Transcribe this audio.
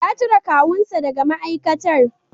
Ya cire kawunsa daga ma'aikatar.